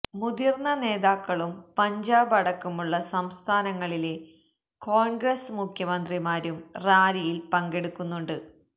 മുതിര്ന്ന നേതാക്കളും പഞ്ചാബ് അടക്കമുള്ള സംസ്ഥാനങ്ങളിലെ കോണ്ഗ്രസ് മുഖ്യമന്ത്രിമാരും റാലിയില് പങ്കെടുക്കുന്നുണ്ട്